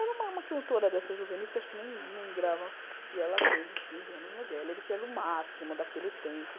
Era uma uma cantora dessa juvenis, que acho que nem nem grava, e ela fez os quinze anos no Gellerick, que era o máximo daquele tempo.